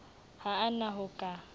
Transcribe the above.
ha a na ho ka